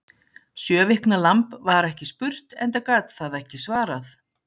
Sjö vikna lamb var ekki spurt, enda gat það ekki svarað.